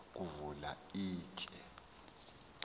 wayeza kuvula ishi